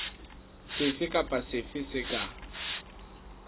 sefe kapa sefe se ka